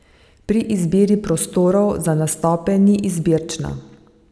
Pri izbiri prostorov za nastope ni izbirčna.